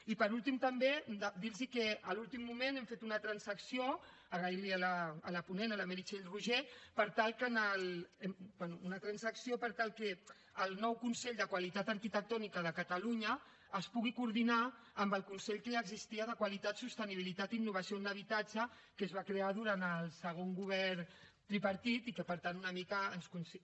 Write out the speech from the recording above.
i per últim també dir los que a l’últim moment hem fet una transacció agrair l’hi a la ponent a la meritxell roigé per tal que el nou consell de qualitat arquitectònica de catalunya es pugui coordinar amb el consell que ja existia de qualitat sostenibilitat i innovació de l’habitatge que es va crear durant el segon govern tripartit i que per tant una mica ens consi